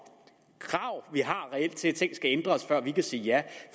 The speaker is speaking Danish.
at ting skal ændres før vi kan sige ja